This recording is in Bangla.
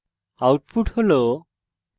output হল